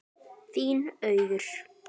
Þín, Auður.